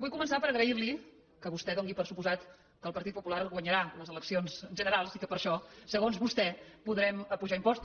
vull començar per agrair li que vostè doni per descomptat que el partit popular guanyarà les eleccions generals i que per això segons vostè podrem apujar impostos